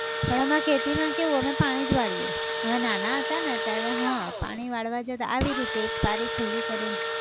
પણ અમાર ખેતી માં કેવું અમે પાણી જ વાળીએ, અમે નાના હતા ને ત્યારે હા પાણી વાળવા જતા આવી રીતે એક પારી ખુલ્લી કરી ન.